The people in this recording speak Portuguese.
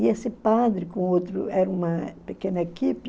E esse padre, com outro era uma pequena equipe,